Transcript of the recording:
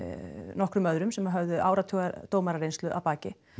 nokkrum öðrum sem höfðu áratuga dómarareynslu að baki